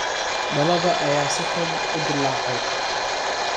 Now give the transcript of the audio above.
Dhalada ayaa si xun u dillaacday.